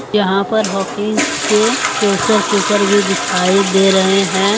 यहां पर हॉकिन्स के प्रेशर कुकर भी दिखाई दे रहे हैं।